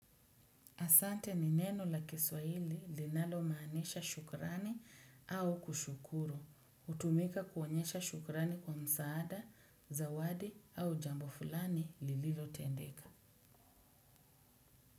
Asante ni neno la kiswaili linalomaanisha shukrani au kushukuru. Hutumika kuonyesha shukrani kwa msaada, zawadi au jambo fulani lililotendeka.